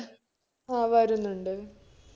ആ വരുന്നുണ്ട്